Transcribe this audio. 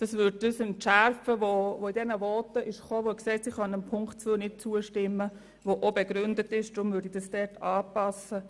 » Das würde das Argument entschärfen, man könne Ziffer 2 nicht zustimmen, weil die Leistungen dann immer kostengünstiger angeboten werden müssten.